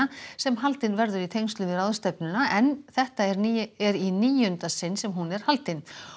sem haldin verður í tengslum við ráðstefnuna en þetta er er í níunda sinn sem hún er haldin